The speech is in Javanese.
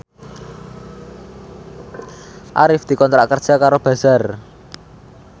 Arif dikontrak kerja karo Bazaar